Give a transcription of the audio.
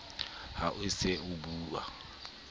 ha o se o bua